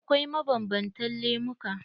Akwai mabanbantan lemuka.